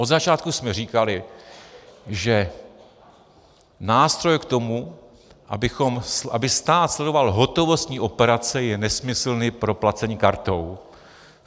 Od začátku jsme říkali, že nástroj k tomu, aby stát sledoval hotovostní operace, je nesmyslný pro placení kartou.